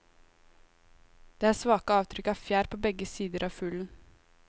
Det er svake avtrykk av fjær på begge sider av fuglen.